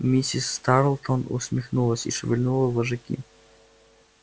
миссис тарлтон усмехнулась и шевельнула вожаки